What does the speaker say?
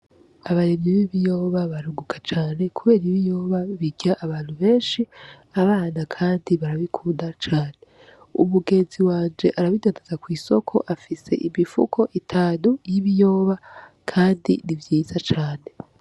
Abaremyi b'ibiyoba barunguka cane, kubera ibiyoba birya abantu benshi abana, kandi barabikunda cane umugenzi wanje arabidanaza kw'isoko afise imifuko itanu y'ibiyoba, kandi nivyiza cane.